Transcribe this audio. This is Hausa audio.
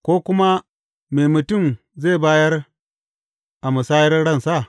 Ko kuma, me mutum zai bayar a musayar ransa?